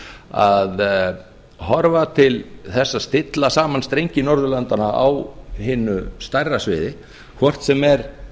að horfa til þess að stilla saman strengi norðurlandanna á hinu stærra sviði hvort sem er